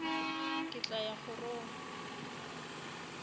ke tla ya kgorong ya